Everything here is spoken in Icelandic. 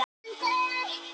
Mikið ber á milli.